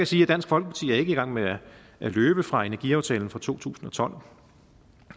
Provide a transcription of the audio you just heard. sige at dansk folkeparti ikke er i gang med at løbe fra energiaftalen fra to tusind og tolv